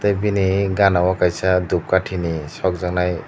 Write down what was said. bini ganao kaisa dupkathi ni sokjaknai.